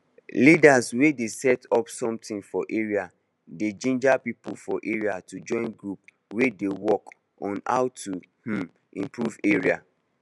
leaders wey dey set up something for area dey ginger people for area to join group wey dey work on how to um improve area